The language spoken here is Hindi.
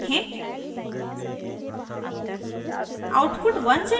और आउटपुट देखें